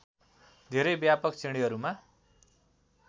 धेरै व्यापक श्रेणीहरूमा